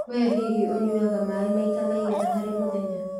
We hihi ũnyuaga maai maita maigana harĩ mũthenya?